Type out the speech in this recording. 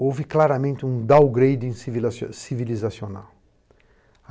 Houve claramente um downgrade civilizacional.